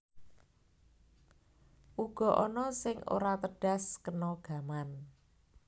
Uga ana sing ora tedhas kena gaman